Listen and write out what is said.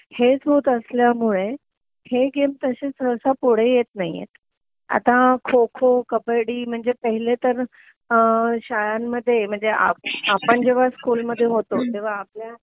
हेच होत असल्यामुळे हे गेम तशे सहसा पुढे येत नाहीयेत आता खो खो कब्बडी म्हणजे पहिलेतर शाळांमध्ये म्हणजे आपण जेंव्हा स्कूल मध्ये होतो तेंव्हा आपल्या